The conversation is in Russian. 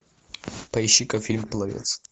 поищи ка фильм пловец